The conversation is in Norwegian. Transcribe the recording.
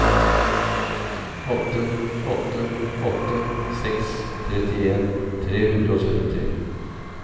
åtte åtte åtte seks trettien tre hundre og syttitre